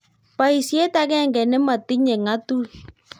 boisiet akenge ne motinye ngatut